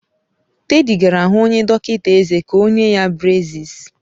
Teddy gara hu onye dọkịta ezé ka o nye ya breziis.